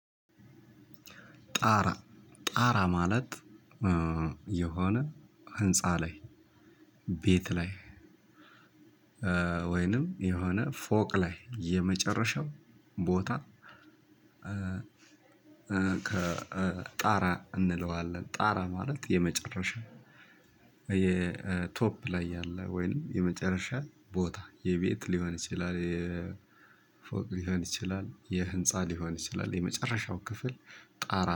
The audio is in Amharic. ጣራ ጣራ ማለት የሆነ ህንፃ ላይ ቤት ላይ ወይንም የሆነ ፎቅ ላይ የመጨረሻው ቦታ። ጣራ እንለዋለን ጣራ ማለት የመጨረሻ የቶፕ ላይ ያለ ወይንም የመጨረሻ ቦታ የቤት ሊሆን ይችላል። የፎቅ ሊሆን ይችላል የህንፃ ሊሆን ይችላል የመጨረሻው ክፍል ጣራ